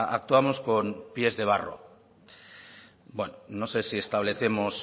actuamos con pies de barro bueno no sé si establecemos